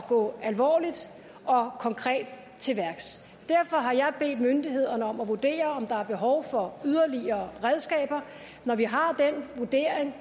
gå alvorligt og konkret til værks derfor har jeg bedt myndighederne om at vurdere om der er behov for yderligere redskaber når vi har den vurdering